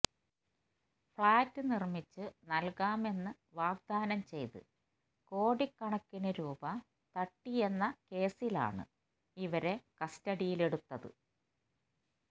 flat നിര്മിച്ചു നല്കാമെന്ന് വാഗ്ദാനം ചെയ്ത് കോടി കണക്കിന് രൂപ തട്ടിയെന്നതാണ് കേസിലാണ് ഇവരെ കസ്റ്റഡിയിലെടുത്തത്